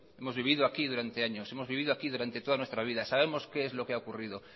hemos vivido aquí durante años hemos vivido aquí durante toda nuestra vida sabemos qué es lo que ha habido